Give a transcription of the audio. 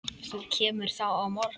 Þú kemur þá á morgun.